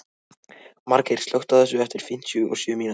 Margeir, slökktu á þessu eftir fimmtíu og sjö mínútur.